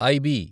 IB